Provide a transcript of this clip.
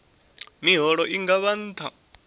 miholo i nga vha nṱha